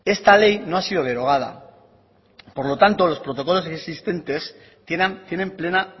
esta ley no ha sido derogada por lo tanto los protocolos existentes tienen plena